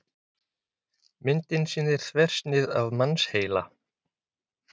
Myndin sýnir þversnið af mannsheila.